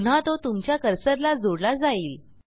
पुन्हा तो तुमच्या कर्सरला जोडला जाईल